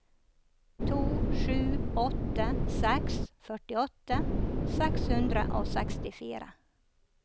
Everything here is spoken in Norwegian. to sju åtte seks førtiåtte seks hundre og sekstifire